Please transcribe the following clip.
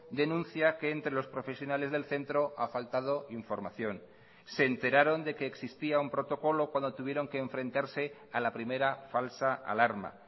denuncia que entre los profesionales del centro ha faltado información se enteraron de que existía un protocolo cuando tuvieron que enfrentarse a la primera falsa alarma